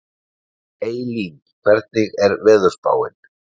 Eylín, hvernig er veðurspáin?